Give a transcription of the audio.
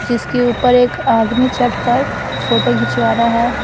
जिसके ऊपर एक आदमी चढ़कर फोटो खिंचवा रहा है।